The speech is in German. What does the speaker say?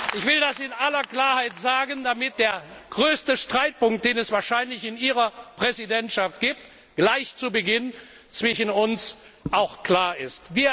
Haus. Ich will das in aller Klarheit sagen, damit der größte Streitpunkt, den es wahrscheinlich in Ihrer Präsidentschaft gibt, gleich zu Beginn zwischen uns klar